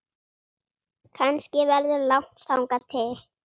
Kannski verður langt þangað til